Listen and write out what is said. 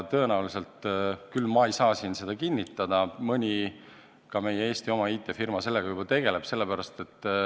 Tõenäoliselt – ma ei saa seda siin küll kinnitada – ka mõni meie Eesti IT-firma sellega juba tegeleb.